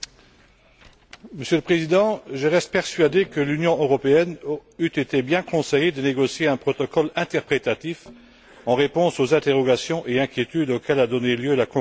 Monsieur le Président, je reste persuadé que l'Union européenne eût été bien conseillée de négocier un protocole interprétatif en réponse aux interrogations et inquiétudes auxquelles a donné lieu la conclusion de l'ACTA.